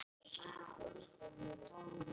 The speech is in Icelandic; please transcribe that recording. Hergils, hvaða leikir eru í kvöld?